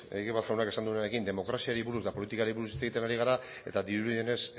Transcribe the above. egibar jaunak esan duenarekin demokraziari buruz eta politikari buruz hitz egiten ari gara eta dirudienez